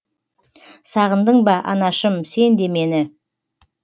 сағындың ба анашым сен де мені